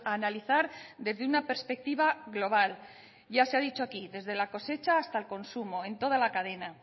analizar desde una perspectiva global ya se ha dicho aquí desde la cosecha hasta el consumo en toda la cadena